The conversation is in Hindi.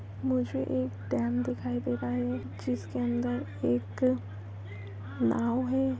मुझे एक डैम दिखाई दे रहा है। जिसके अंदर एक नाव है।